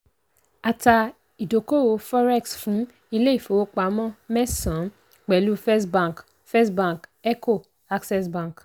a ta ìdókòwò forex fún ilé-ìfowópamọ́ mẹ́sànán pẹ̀lú first bank first bank eco access bank.